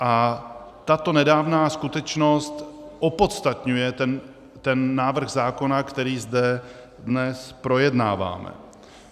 A tato nedávná skutečnost opodstatňuje ten návrh zákona, který zde dnes projednáváme.